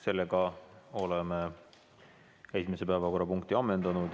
Sellega oleme esimese päevakorrapunkti ammendanud.